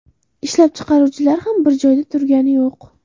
Ishlab chiqaruvchilar ham bir joyda turgani yo‘q!